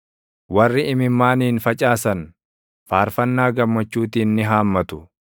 Warri imimmaaniin facaasan, faarfannaa gammachuutiin ni haammatu.